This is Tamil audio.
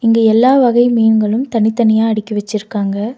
இங்க எல்லா வகை மீன்களும் தனித்தனியா அடிக்கி வச்சிருக்காங்க.